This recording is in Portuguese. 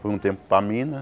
Fui um tempo para Minas.